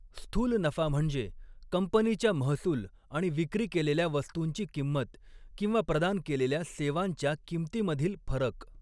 स्थूल नफा म्हणजे कंपनीच्या महसूल आणि विक्री केलेल्या वस्तूंची किंमत किंवा प्रदान केलेल्या सेवांच्या किंमतीमधील फरक.